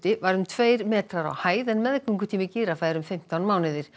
var um tveir metrar á hæð en meðgöngutími gíraffa er um fimmtán mánuðir